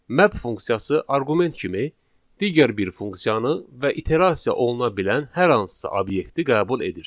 Map funksiyası arqument kimi digər bir funksiyanı və iterasiya oluna bilən hər hansısa obyekti qəbul edir.